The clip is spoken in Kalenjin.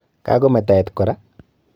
Kakome tait kora?